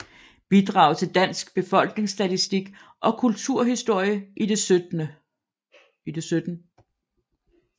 Bidrag til Dansk Befolkningsstatistik og Kulturhistorie i det 17